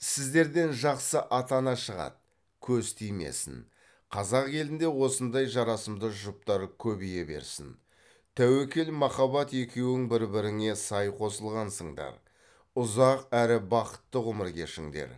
сіздерден жақсы ата ана шығады көз тимесін қазақ елінде осындай жарасымды жұптар көбейе берсін тәуекел махаббат екеуің бір біріңе сай қосылғансыңдар ұзақ әрі бақытты ғұмыр кешіңдер